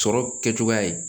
Sɔrɔ kɛcogoya ye